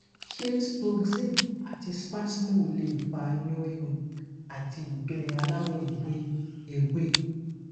ṣé sproxyne àti spasmo lè fa inu rirun ati igbe alawo ewe ewe